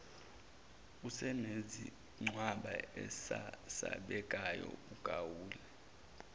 usunesigcwagcwa esesabekayo ugawule